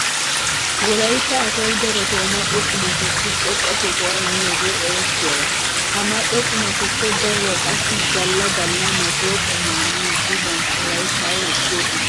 Wolaytta asay darotoo mal"o qumatussi xoqqa sohuwa immiyogee erettiyaba. Ha mal"o qumatuppe daruwa qassi galla galla masuha qumaa miiddi bantta layttaa wirssoosona.